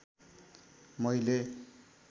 मैले